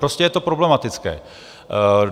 Prostě je to problematické.